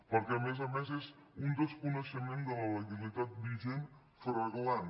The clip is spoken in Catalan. perquè a més a més és un desconeixement de la legalitat vigent flagrant